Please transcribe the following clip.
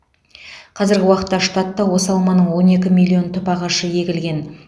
қазіргі уақытта штатта осы алманың он екі миллион түп ағашы егілген